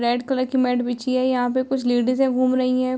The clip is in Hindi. रेड कलर की मैट बिछी है। यहाँ पे कुछ लेडिज घूम रही है।